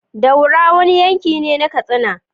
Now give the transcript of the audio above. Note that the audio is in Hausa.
Daura wani yankine na katsina